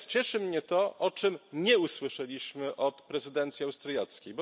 Natomiast cieszy mnie to, o czym nie usłyszeliśmy od prezydencji austriackiej.